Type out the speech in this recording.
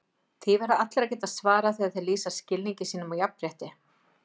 Því verða allir að geta svarað þegar þeir lýsa skilningi sínum á jafnrétti.